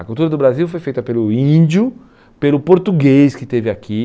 A cultura do Brasil foi feita pelo índio, pelo português que esteve aqui.